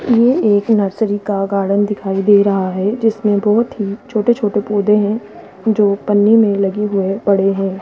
ये एक नर्सरी का गार्डन दिखाई दे रहा है जिसमें बहोत ही छोटे छोटे पौधे हैं जो पन्नी में लगे हुए पड़े हैं।